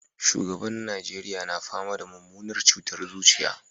Shugaban na Najeriya na fama da mummunar cutar zuciya